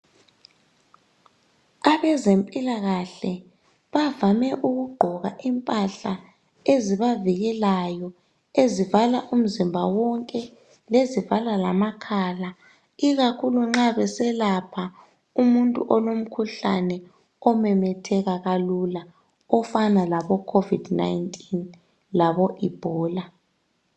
Abezempilakahle bavame ukugqoka impahla ezibavikelayo ezivala umzimba wonke lezivala lamakhala ikakhulu nxa beselapha umuntu olomkhuhlane omemetheka kalula ofana laboCovid 19 laboEbola.